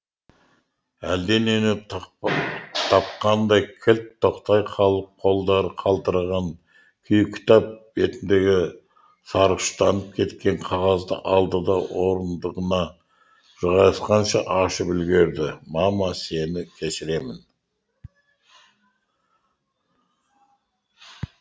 әлденені тапқандай кілт тоқтай қалып қолдары қалтыраған күйі кітап бетіндегі сарғыштанып кеткен қағазды алды да орындығына жайғасқанша ашып үлгерді мама сені кешіремін